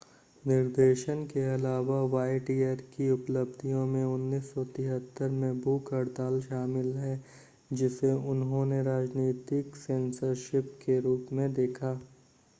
निर्देशन के अलावा वायटियर की उपलब्धियों में 1973 में भूख हड़ताल शामिल है जिसे उन्होंने राजनीतिक सेंसरशिप के रूप में देखा